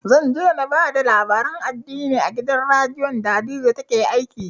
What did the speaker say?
Zan je na ba da labaran addini a gidan radiyon da hadiza take aiki